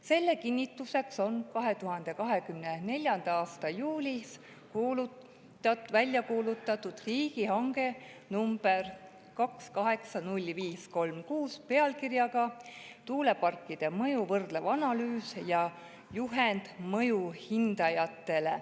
Selle kinnituseks on 2024. aasta juulis välja kuulutatud riigihange nr 280536 "Tuuleparkide mõju võrdlev analüüs ja juhend mõjuhindajatele".